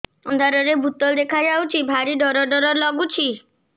ଅନ୍ଧାରରେ ଭୂତ ଦେଖା ଯାଉଛି ଭାରି ଡର ଡର ଲଗୁଛି